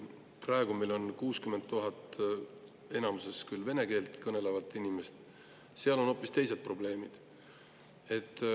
Praegu meil on need 60 000 enamuses vene keelt kõnelevat inimest, aga seal on hoopis teised probleemid.